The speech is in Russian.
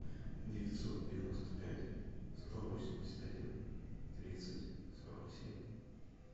девятьсот девяносто пять сто восемьдесят один тридцать сорок семь